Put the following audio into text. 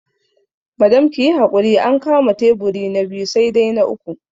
Madam kiyi hakuri an kama taiburi na biyu sai dai na uku